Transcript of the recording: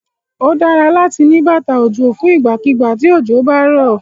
Ó dára láti ní bàtà òjò fún ìgbàkígbà tí òjò bá rọ̀.